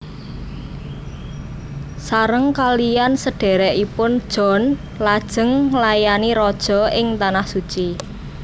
Sareng kalihan sedhèrèkipun John lajeng nglayani Raja ing Tanah Suci